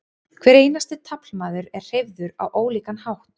hver einasti taflmaður er hreyfður á ólíkan hátt